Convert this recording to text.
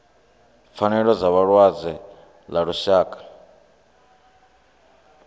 pfanelo dza vhalwadze ḽa lushaka